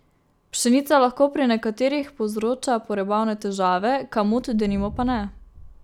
Pšenica lahko pri nekaterih povzroča prebavne težave, kamut, denimo, pa ne.